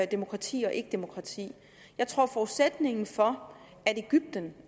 demokrati og ikkedemokrati jeg tror at forudsætningen for